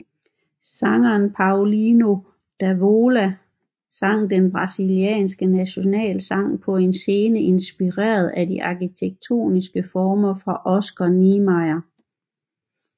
Sanger Paulinho da Viola sang den brasilianske nationalsang på en scene inspireret af de arkitektoniske former for Oscar Niemeyer